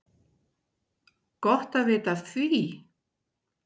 Gott að vita af því!